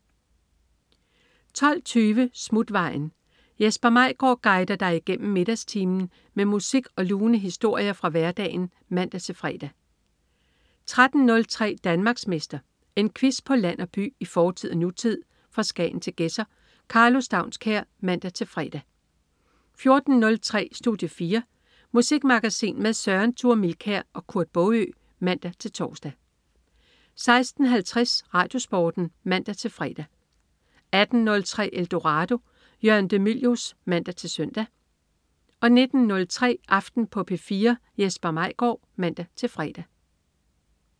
12.20 Smutvejen. Jesper Maigaard guider dig igennem middagstimen med musik og lune historier fra hverdagen (man-fre) 13.03 Danmarksmester. En quiz på land og by, i fortid og nutid, fra Skagen til Gedser. Karlo Staunskær (man-fre) 14.03 Studie 4. Musikmagasin med Søren Thure Milkær og Kurt Baagø (man-tors) 16.50 RadioSporten (man-fre) 18.03 Eldorado. Jørgen de Mylius (man-søn) 19.03 Aften på P4. Jesper Maigaard (man-fre)